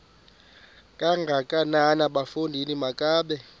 kangakanana bafondini makabe